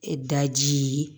E daji